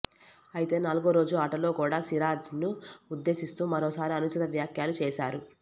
అయితే నాలుగో రోజు ఆటలో కూడా సిరాజ్ను ఉద్దేశిస్తూ మరోసారి అనుచిత వ్యాఖ్యలు చేశారు